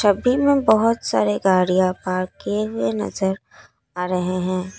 में बहुत सारे गाड़ियां पार्क किए हुए नजर आ रहे हैं।